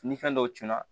Ni fɛn dɔw tununa